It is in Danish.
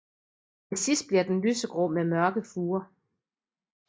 Til sidst bliver den lysegrå med mørke furer